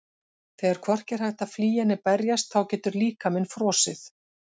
Þegar hvorki er hægt að flýja né berjast þá getur líkaminn frosið.